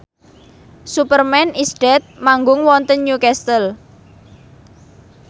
Superman is Dead manggung wonten Newcastle